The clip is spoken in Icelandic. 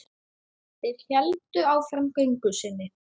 Þeir héldu áfram göngu sinni.